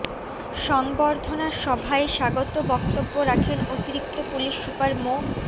সংবর্ধনা সভায় স্বাগত বক্তব্য রাখেন অতিরিক্ত পুলিশ সুপার মো